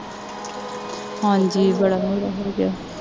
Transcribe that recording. ਹਾਂਜੀ ਵਧੀਆ ਬੜਾ ਪਿਆ